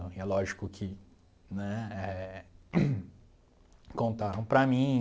E é lógico que né eh contaram para mim